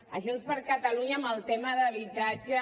a junts per catalunya amb el tema d’habitatge